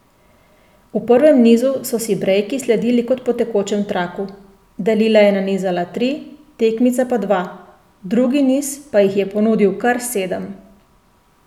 V prvem nizu so si brejki sledili kot po tekočem traku, Dalila je nanizala tri, tekmica pa dva, drugi niz pa jih je ponudil kar sedem.